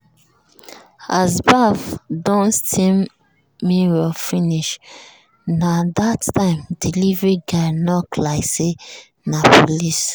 as baff don steam mirror finish na that time delivery guy knock like say na police.